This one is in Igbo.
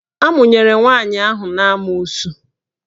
Amụnyere nwaanyị ahụ n'amoosu.